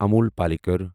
Amul Palekar